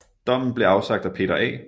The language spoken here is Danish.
Dommen blev afsagt af Peter A